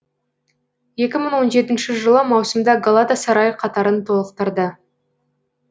екі мың он жетінші жылы маусымда галатасарай қатарын толықтырды